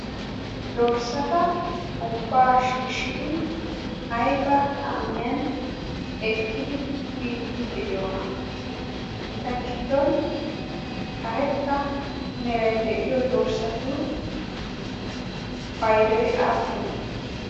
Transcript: Dorssata ubbaa shiishshidi ayba kaamiyan ekkidi biiddi de'iyoona? Eta giddon karetta meray de'iyo dorssatu paydoy aappunee?